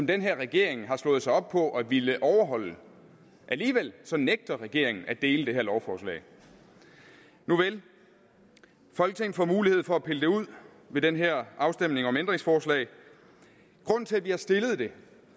den her regering har slået sig op på at ville overholde alligevel nægter regeringen at dele det her lovforslag nuvel folketinget får mulighed for at pille det ud ved den her afstemning om ændringsforslag grunden til at vi har stillet det